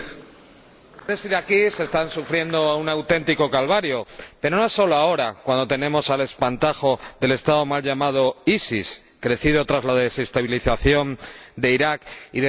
Señor Presidente, algunos están sufriendo un auténtico calvario, pero no solo ahora, cuando tenemos al espantajo del Estado mal llamado ISIS, crecido tras la desestabilización de Irak y de Siria.